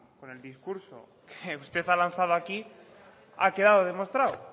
con el discurso que usted ha lanzado aquí ha quedado demostrado